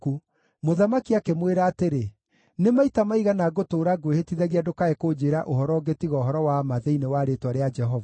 Mũthamaki akĩmwĩra atĩrĩ, “Nĩ maita maigana ngũtũũra ngwĩhĩtithagia ndũkae kũnjĩĩra ũhoro ũngĩ tiga ũhoro wa ma thĩinĩ wa rĩĩtwa rĩa Jehova?”